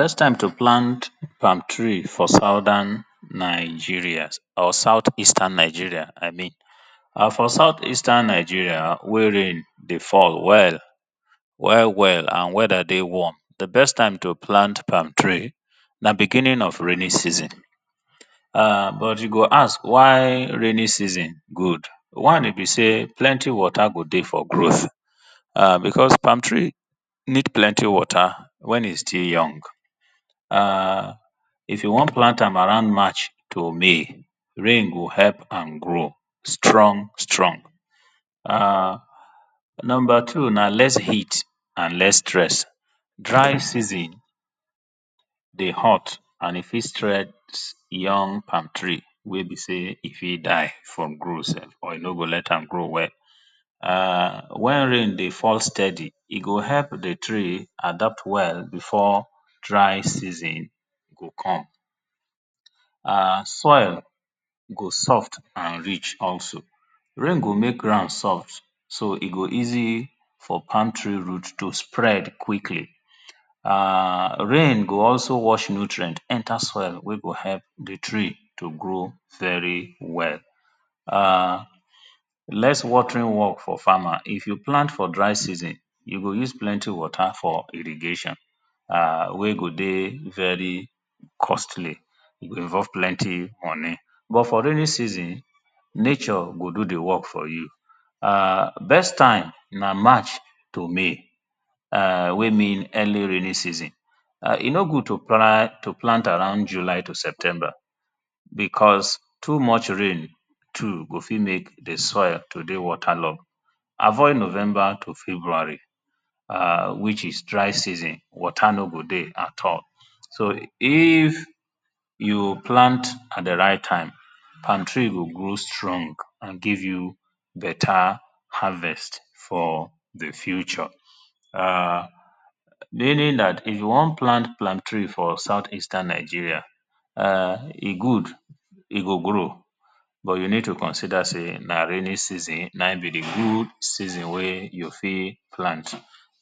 Best time to plant palm tree for southern Nigeria or south eastern Nigeria I mean [urn] for south eastern Nigeria wey rain dey fall well, well well and weather dey warm. Di best time to pant palm tree na beginning of rainy season urn] but you go ask why rainy season good, one e be sey plenty water go dey for growth because palm tree need plenty water wen e still young [urn] if you wan plant am around march to may, rain go help am grow strong strong [urn] number two na less heat and less stress, dry season dey hot and e fit stress young palm tree wey be sey e fit dry from growth sef or e no go let am grow well [urn] wen rain dey fall steady e go help di tree adopt well before dry season go come, soil go soft and rich also. Rain go make ground strong so e go asy for palm tree root to spread quick. Rain go also wash nutrient enter soil wey go help di tree to grow well well. Less watering work for farmer, if you plant for dry season you go use plenty water for irrigation wey go dey very costly go involve plenty money. But for rainy season nature go do di work for you. Best time na march to may wey mean early rainy season. E no good to plant around July to September because too much rain too go fit make di soil to dey water log. Avoid November to February which id dry dr y season water no go dey at all. So if you plant at di right time palm tree go dey strong and give you better harvest for di future. Meaning dat if you wan plant palm tree for south eastern Nigeria e good, e go grow but you need to consider sey na rainy season na im be di good season wey you fit plant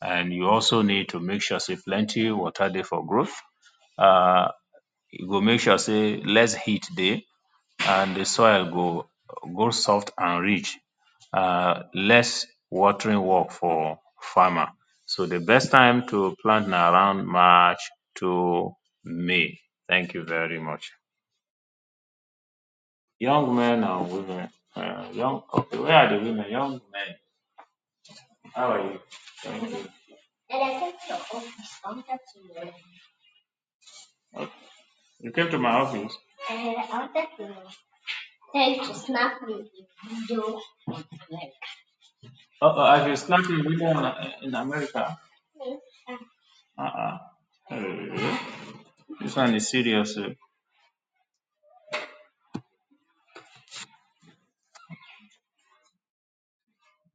and you also need to make sue sey plenty water dey for growth, you go make sure sey less heat dey, and di soil go dey soft and rich and less watering work for farmer so di best time to plant na around march to May thank you very much. Young men and women, where are the women young men, how are you, you came to m y office, I wanted to tell you to snap me to. [2] this one is serious oh.